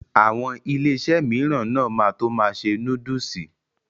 Àwọn Iléeṣẹ́ mìíràn náà ma tó ma ṣe núdúsì